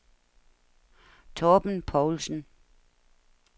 Torben Poulsen